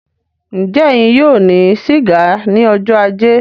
Njẹ ẹyin yóò ní siga ní ọjọ ajé?